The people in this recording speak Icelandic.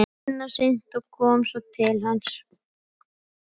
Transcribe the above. Tinna synti og kom svo til hans.